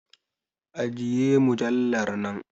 Ajiye mujallar nan!